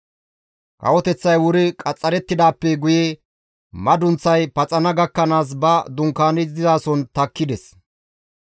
Kawoteththay wuri qaxxarettidaappe guye madunththay paxana gakkanaas ba dunkaani dizason takkides.